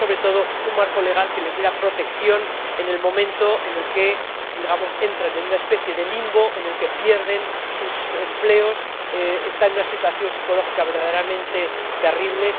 Pero, sobre todo, un marco legal que les diera protección en el momento en el que entran en una especie de limbo en el que pierden sus empleos, están en una situación psicológica verdaderamente terrible...